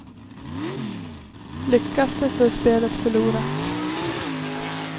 Lyckas det så är spelet förlorat.